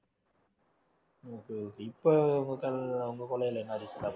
okay okay இப்போ உங்க கொள்ளையிலே என்ன இருக்கு